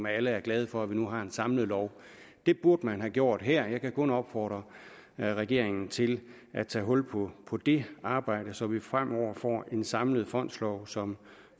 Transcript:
alle er glade for at vi nu har en samlet lov det burde man have gjort her jeg kan kun opfordre regeringen til at tage hul på det arbejde så vi fremover får en samlet fondslov som